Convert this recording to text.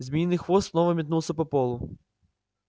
змеиный хвост снова метнулся по полу